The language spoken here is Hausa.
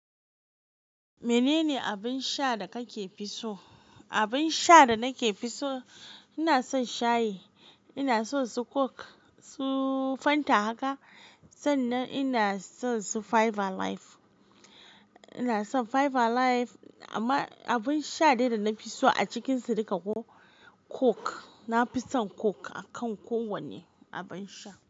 Menene abin sha da kake fi so? Abin sha da nake fi so, ina son shayi, ina son su coke, su fanta haka. Sannan ina son su five alive. Ina son five alive amma abin sha dai da na fi so a cikinsu duka ko coke. Na fi son coke akan kowane abin sha.